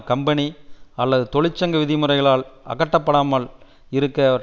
company அல்லது தொழிற்சங்க விதிமுறைகளில் அகப்படாமல் இருக்க